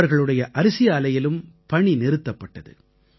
அவர்களுடைய அரிசி ஆலையிலும் பணி நிறுத்தப்பட்டது